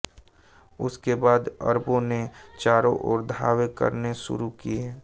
उसके बाद अरबों ने चारों ओर धावे करने शुरु किए